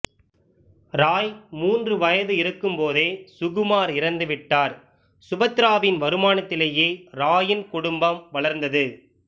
ராய் மூன்று வயது இருக்கும் போதே சுகுமார் இறந்துவிட்டார் சுபத்திராவின் வருமானத்திலேயே ராயின் குடும்பம் வளர்ந்தது